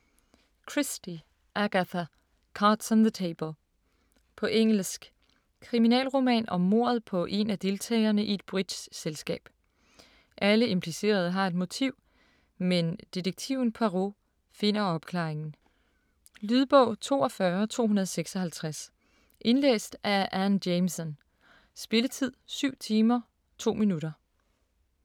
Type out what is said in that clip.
Christie, Agatha: Cards on the table På engelsk. Kriminalroman om mordet på en af deltagerne i et bridgeselskab. Alle implicerede har et motiv, men detektiven Poirot finder opklaringen. Lydbog 42256 Indlæst af Anne Jameson Spilletid: 7 timer, 2 minutter.